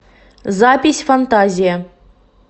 запись фантазия